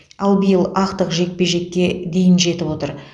ал биыл ақтық жекпе жеке дейін жетіп отыр